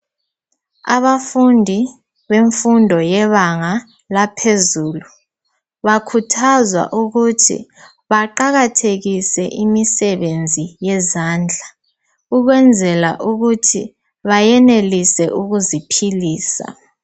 Abafundi bemfundo yebanga laphezulu bakhuthazwa ukuthi baqakathekise imisebenzi yezandla ukwenzela ukuthi bayenelise ukuziphilisa